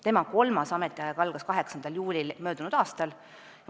Tema kolmas ametiaeg algas 8. juulil möödunud aastal.